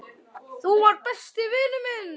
Þú varst besti vinur minn.